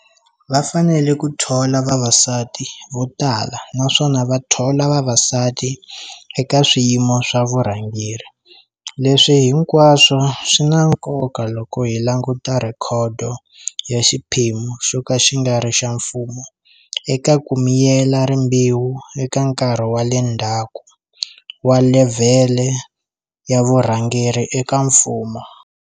Va fanele ku thola vavasati vo tala naswona va thola vavasati eka swiyimo swa vurhangeri. Leswi hinkwaswo swi na nkoka loko hi languta rhekhodo ya xiphemu xoka xi ngari xa mfumo eka kuyimela rimbewu eka nkarhi wa le ndhaku wa levhele ya vurhangeri eka mfumo.